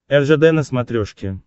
ржд на смотрешке